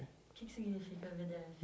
O que que significa vê dê efe?